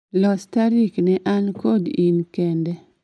Los tarik ne an kod in kende